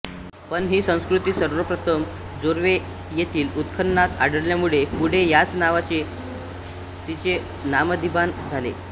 पण ही संस्कृती सर्वप्रथम जोर्वे येथील उत्खननात आढळल्यामुळे पुढे याच नावाने तिचे नामाभिधान झाले